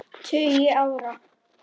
tugi ára.